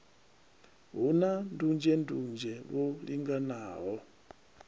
hu na ndunzhendunzhe lwo linganelaho